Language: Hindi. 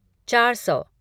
चार सौ